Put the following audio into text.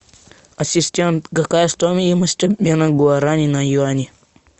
ассистент какая стоимость обмена гуарани на юани